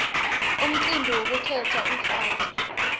umcibi wekukhetsa umfati